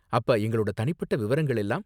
அப்ப எங்களோட தனிப்பட்ட விவரங்கள் எல்லாம்?